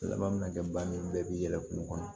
Laban min ka kɛ bani bɛɛ bi yɛlɛ kungo kɔnɔ